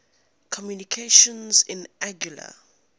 communications in anguilla